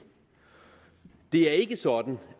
det er ikke sådan